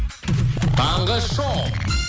таңғы шоу